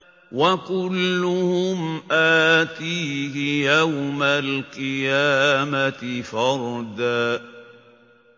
وَكُلُّهُمْ آتِيهِ يَوْمَ الْقِيَامَةِ فَرْدًا